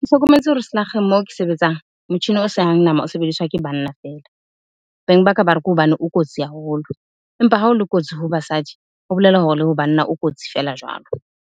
Ke hlokometse hore selakgeng moo ke sebetsang, motjhini o sehang nama o sebediswa ke banna fela. Beng ba ka ba re, ke hobane o kotsi haholo. Empa hao le kotsi ho basadi, ho bolela hore le ho banna o kotsi feela jwalo.